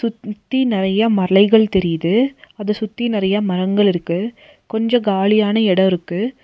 த்தி நெறையா மலைகள் தெரியிது அத சுத்தி நெறையா மரங்கள் இருக்கு கொஞ்சோ காலியான எடோ இருக்கு.